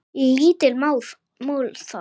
Lítið mál það.